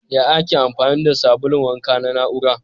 Ya Ake amfani da sabulun wanka na na'ura?